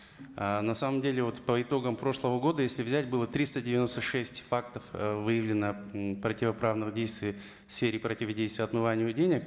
ыыы на самом деле вот по итогам прошлого года если взять было триста девяноста шесть фактов ы выявлено противоправных действий в сфере противодействия отмывания денег